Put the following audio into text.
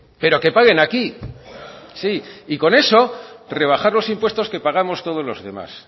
pero que paguen aquí sí y con eso rebajar los impuestos que pagamos todos los demás